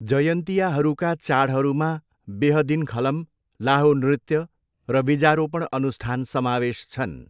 जयन्तियाहरूका चाडहरूमा बेहदिनखलम, लाहो नृत्य र बीजारोपण अनुष्ठान समावेश छन्।